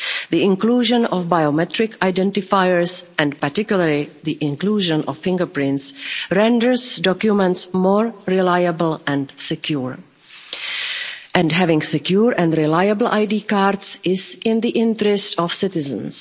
The inclusion of biometric identifiers, and particularly the inclusion of fingerprints, renders documents more reliable and secure, and having secure and reliable ID cards is in the interest of citizens.